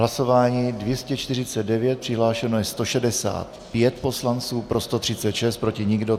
Hlasování 249, přihlášeno je 165 poslanců, pro 136, proti nikdo.